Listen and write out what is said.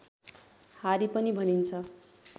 हारी पनि भनिन्छ